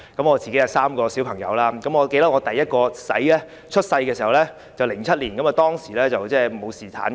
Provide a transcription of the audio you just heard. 我有3名小朋友，我第一名兒子在2007年出生，當時沒有侍產假。